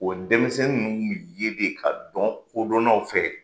O denmisɛnnin ninnu kun mi ye de ka dɔn kodɔnnaw fɛ.